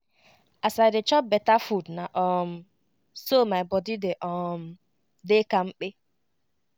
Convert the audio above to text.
as i dey chop beta food na um so my body dey um dey kampe